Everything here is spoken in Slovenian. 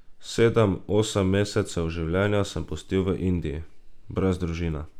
Sedem, osem mesecev življenja sem pustil v Indiji, brez družine.